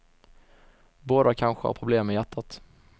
Båda kanske har problem med hjärtat.